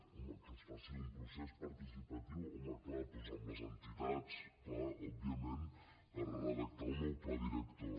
home que es faci un procés participatiu clar doncs amb les entitats òbvia ment per redactar el nou pla director